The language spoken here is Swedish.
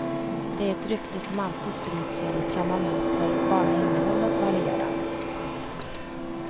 Det är ett rykte som alltid sprids enligt samma mönster, bara innehållet varierar.